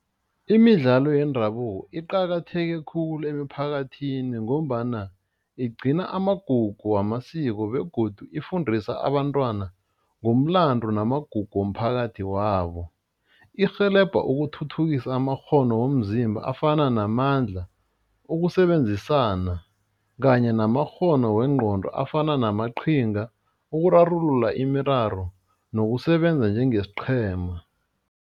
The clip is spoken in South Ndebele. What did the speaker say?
Imidlalo yendabuko iqakatheke khulu emphakathini ngombana igcina amagugu wamasiko begodu ifundisa abantwana ngomlando namagugu womphakathi wabo, irhelebha ukuthuthukisa amakghono womzimba afana namandla, ukusebenzisana kanye namakghono wengqondo afana namaqhinga ukurarulula imiraro nokusebenza njengesiqhema.